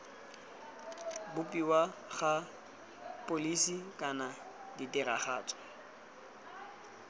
bopiwa ga pholisi kana tiragatso